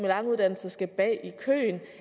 lange uddannelser skal bag i køen